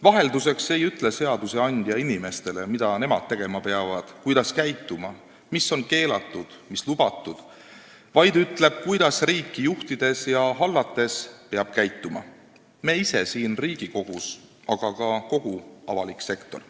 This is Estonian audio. Vahelduseks ei ütle seadusandja inimestele, mida nemad peavad tegema ja kuidas käituma, mis on keelatud ja mis lubatud, vaid ütleb, kuidas peame käituma riiki juhtides ja hallates meie ise siin Riigikogus, ning kuidas peab käituma ka kogu avalik sektor.